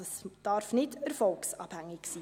es darf also nicht erfolgsabhängig sein.